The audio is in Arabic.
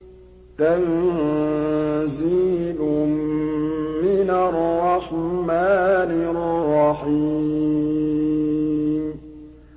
تَنزِيلٌ مِّنَ الرَّحْمَٰنِ الرَّحِيمِ